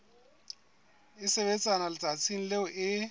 e sebetswa letsatsing leo e